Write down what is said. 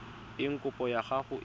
eng kopo ya gago e